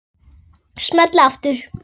Smelli aftur.